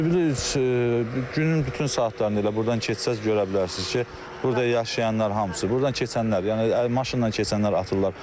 Zibil günün bütün saatlarında elə burdan keçsəniz görə bilərsiniz ki, burada yaşayanlar hamısı, burdan keçənlər, yəni maşınla keçənlər atırlar.